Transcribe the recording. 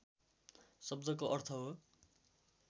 शब्दको अर्थ हो